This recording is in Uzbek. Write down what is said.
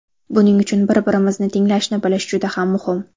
Buning uchun bir-birimizni tinglashni bilish juda ham muhim.